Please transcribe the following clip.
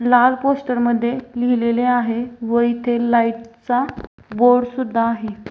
लाल पोस्टर मध्ये लिहिलेले आहे व इथे लाइट चा बोर्ड सुद्धा आहे.